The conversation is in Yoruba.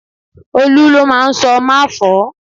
Olu ló máa ń sọ 'má fọ̀ọ́'